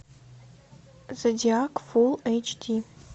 зодиак фулл эйч ди